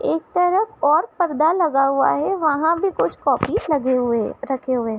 एक तरफ और पर्दा लगा हुआ है वहाँ भी कुछ कॉपी लगे हुए रखे हुए हैं।